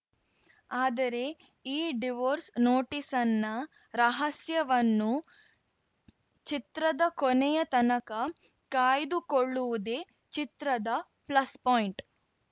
ಆದರೆ ಈ ಡಿವೋರ್ಸ್‌ ನೋಟಿಸ್‌ನ್ನ ರಹಸ್ಯವನ್ನು ಚಿತ್ರದ ಕೊನೆಯ ತನಕ ಕಾಯ್ದುಕೊಳ್ಳುವುದೇ ಚಿತ್ರದ ಪ್ಲಸ್‌ ಪಾಯಿಂಟ್‌